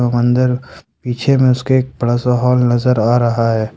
मंदिर पीछे में उसके एक बड़ा सा हॉल नजर आ रहा है।